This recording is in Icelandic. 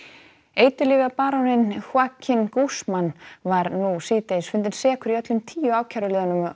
Joaquin Guzman var nú síðdegis fundinn sekur í öllum tíu ákæruliðum